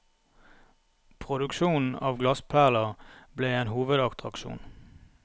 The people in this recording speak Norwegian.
Produksjonen av glassperler ble en hovedattraksjon.